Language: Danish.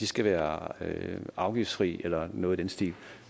skal være afgiftsfri eller noget i den stil